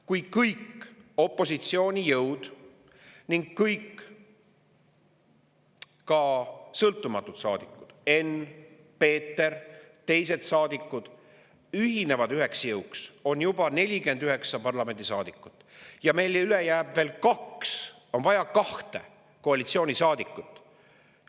Kui kõik opositsioonijõud ning ka kõik sõltumatud saadikud – Enn, Peeter ja teised –, ühinevad üheks jõuks, on juba 49 saadikut ja meil on vaja veel kahte koalitsioonisaadikut.